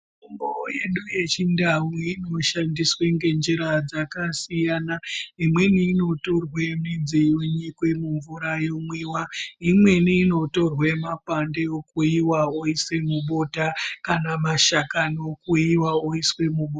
Mitombo yedu yechindau inoshandiswa ngenjira dzakasiyana imweni inotorwa midzi yonyikwa mumvura yeimwiwa imweni inotorwa mwakwande okuyiwa oiswa mubota kana mashakani okuyiwa oiswa mubota.